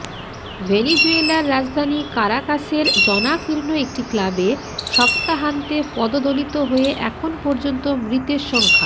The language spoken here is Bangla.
ভেনিজুয়েলার রাজধানী কারাকাসের জনাকীর্ণ একটি ক্লাবে সপ্তাহান্তে পদদলিত হয়ে এখন পর্যন্ত মৃতের সংখ্যা